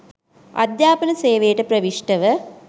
අධ්‍යාපන සේවයට ප්‍රවිෂ්ටව